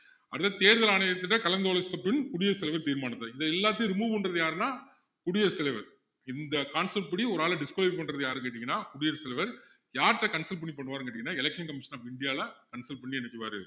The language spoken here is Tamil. அடுத்தது தேர்தல் ஆணையகத்திட்ட கலந்து ஆலோசித்த பின் குடியரசு தலைவர் தீர்மானிப்பது இது எல்லாத்தையும் remove பண்றது யாருன்னா குடியரசுத்தலைவர் இந்த concept படி ஒரு ஆளை disqualify பண்றது யாருன்னு கேட்டீங்கன்னா குடியரசுத்தலைவர் யாருகிட்ட consult பண்ணி பண்ணுவாருன்னு கேட்டிங்கன்னா election commission of india ல consult பண்ணி என்ன செய்வாரு